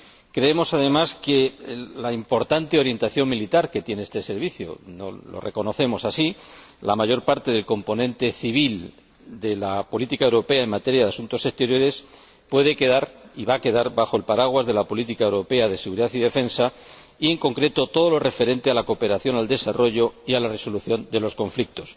Creemos, además, que, dada la importante orientación militar que tiene este Servicio —lo reconocemos así—, la mayor parte del componente civil de la política europea en materia de asuntos exteriores puede quedar y va a quedar bajo el paraguas de la política europea de seguridad y defensa, y, en concreto, todo lo referente a la cooperación al desarrollo y a la resolución de los conflictos.